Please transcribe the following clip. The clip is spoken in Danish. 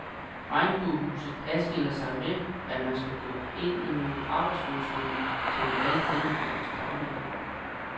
Regnbuehuset adskiller sig ved, at man skal gå ind i nogle arbejdsfunktioner, som vi alle kender fra vores dagligliv.